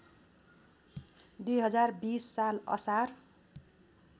२०२० साल असार